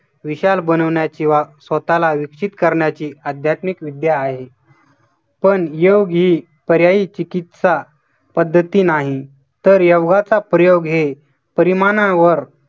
विशाल बनवण्याची व स्वतःला विकसित करण्याची आध्यात्मिक विद्या आहे. पण योग ही पर्यायी चिकित्सा पद्धती नाही तर योगाचा प्रयोग हे परिमाणावर